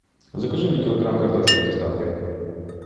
закажи мне килограмм картошки с доставкой